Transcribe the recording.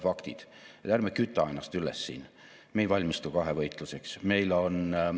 Erasektori teadus- ja arenduskulutuste tase on praegu napilt allpool 1% SKP-st ehk me vajame erasektori teadus- ja arendustöö kahekordset kasvu.